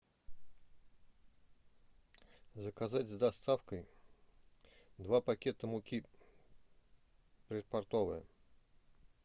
заказать с доставкой два пакета муки предпортовая